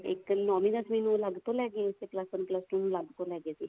ਇੱਕ ਨੋਵੀਂ ਦਸਵੀਂ ਨੂੰ ਅਲੱਗ ਤੋਂ ਲੇਕੇ ਗਏ ਸੀ ਓਲੁਸ one plus two ਨੂੰ ਅਲੱਗ ਤੋਂ ਲੇਕੇ ਗਏ ਸੀ